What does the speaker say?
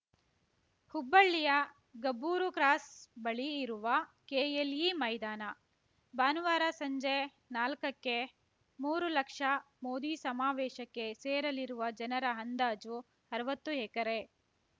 ಹುಬ್ಬಳ್ಳಿಯ ಗಬ್ಬೂರು ಕ್ರಾಸ್‌ ಬಳಿ ಇರುವ ಕೆಎಲ್‌ಇ ಮೈದಾನ ಭಾನುವಾರ ಸಂಜೆ ನಾಲ್ಕಕ್ಕೆ ಮೂರು ಲಕ್ಷ ಮೋದಿ ಸಮಾವೇಶಕ್ಕೆ ಸೇರಲಿರುವ ಜನರ ಅಂದಾಜು ಅರ್ವತ್ತು ಎಕರೆ